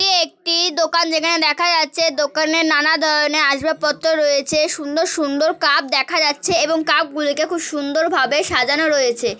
এটি একটি দোকান যেখানে দেখা যাচ্ছে দোকানে নানা ধরনের আসবাবপত্র রয়েছে সুন্দর সুন্দর কাপ দেখা যাচ্ছে এবং কাপগুলোকে খুব সুন্দর ভাবে সাজানো রয়েছে ।